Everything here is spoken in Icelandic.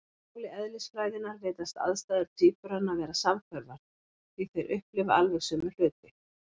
Á máli eðlisfræðinnar virðast aðstæður tvíburanna vera samhverfar, því þeir upplifa alveg sömu hluti.